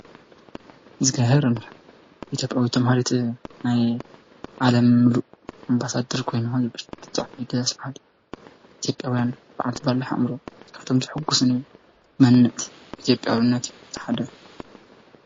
እዝገብሔርም ኢቶጵያዊት ተማሃሪት ናይ ዓለም ምሉእ ኣምባሳድር ኮይኑ ዘበል ተጻዋዕነት መዳይ ኢቶጵያውነት ባዓል ኣቲ ባልሕ እምሮ ካፍቶም ዝሕጉስኒ መነት እቲ ኢቶጵዊነት እቲ ሓደ።